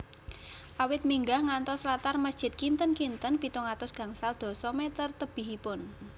Awit minggah ngantos latar masjid kinten kinten pitung atus gangsal dasa meter tebihipun